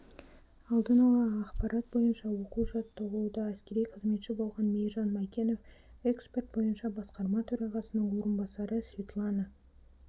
алдын ала ақпарат бойынша оқу-жаттығуда әскери қызметші болған мейіржан майкенов экспорт бойынша басқарма төрағасының орынбасары светлана